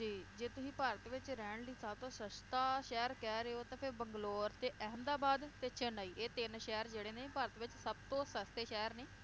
ਜੀ ਜੇ ਤੁਹੀਂ ਭਾਰਤ ਵਿਚ ਰਹਿਣ ਲਈ ਸਬਤੋਂ ਸਸਤਾ ਸ਼ਹਿਰ ਕਹਿਰੇ ਹੋ ਤਾਂ ਫੇਰ bangalore ਤੇ Ahmedabad ਤੇ chennai ਇਹ ਤਿੰਨ ਸ਼ਹਿਰ ਜਿਹੜੇ ਨੇ ਭਾਰਤ ਵਿਚ ਸਬਤੋਂ ਸਸਤੇ ਸ਼ਹਿਰ ਨੇ